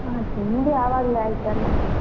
ಹ ತಿಂಡಿ ಆವಾಗ್ಲೇ ಆಯಿತಲ್ಲಾ.